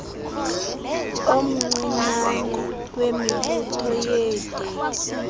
omncinane wemibutho yeetekisi